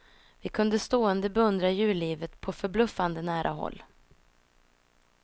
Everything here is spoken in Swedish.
Vi kunde stående beundra djurlivet på förbluffande nära håll.